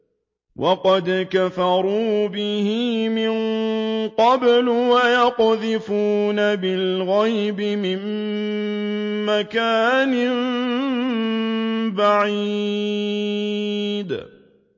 وَقَدْ كَفَرُوا بِهِ مِن قَبْلُ ۖ وَيَقْذِفُونَ بِالْغَيْبِ مِن مَّكَانٍ بَعِيدٍ